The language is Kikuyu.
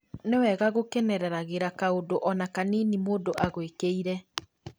Nĩwega gũkenereragĩra kaũndũ ona kanini mũndũ agwĩkĩire